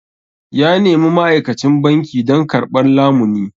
Ya nemi ma'aikacin banki don karɓar lamuni.